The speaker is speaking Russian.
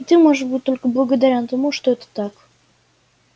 и ты можешь быть только благодарен тому что это так